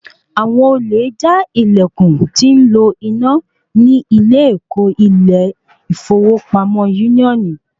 Àwọn olè já ìlèkùn tí ń lo iná ní ilé ẹkọ ilé ìfowópamọ́ úníónì